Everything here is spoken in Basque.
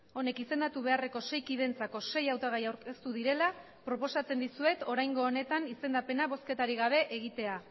honek izendatu beharreko sei kideentzako sei hautagai aurkeztu direla proposatzen dizuet oraingo honetan izendapena bozketarik gabe egitea